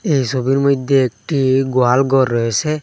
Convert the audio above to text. এই সোবির মইধ্যে একটি গোয়াল গর রয়েসে।